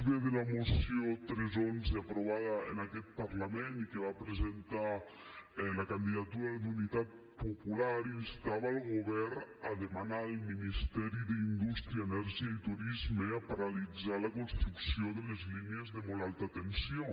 b de la moció tres xi aprovada en aquest parlament i que va presentar la candidatura d’unitat popular instava el govern a demanar al ministeri d’indústria energia i turisme paralitzar la construcció de les línies de molt alta tensió